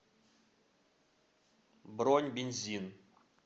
бронь бензин